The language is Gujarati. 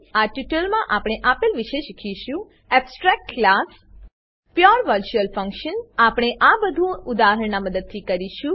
આ ટ્યુટોરીયલમાં આપણે આપેલ વિશે શીખીશું Abstract ક્લાસ એબસ્ટ્રેક્ટ ક્લાસો Pure virtual function pure virtual function આપણે આ બધુ ઉદાહરણનાં મદદથી કરીશું